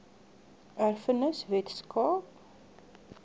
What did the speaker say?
erfenis wes kaap